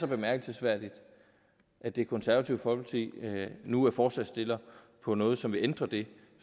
bemærkelsesværdigt at det konservative folkeparti nu er forslagsstiller på noget som vil ændre det